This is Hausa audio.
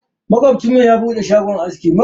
Makocinmu ya bude shagon aski.